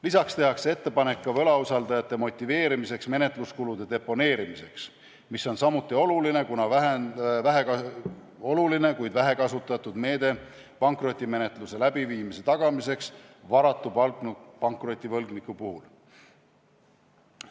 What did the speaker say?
Lisaks tehakse ettepanek võlausaldajate motiveerimiseks menetluskulude deponeerimiseks, mis on samuti oluline, kuid vähekasutatud meede pankrotimenetluse tagamiseks varatu pankrotivõlgniku puhul.